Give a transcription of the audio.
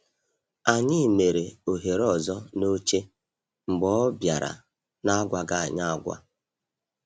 Anyị mere ohere ọzọ n’oche mgbe ọ bịara n’agwaghị anyị agwa.